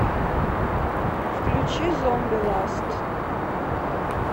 включи зомби ласт